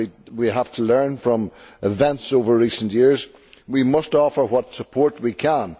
we have to learn from events over recent years we must offer what support we can.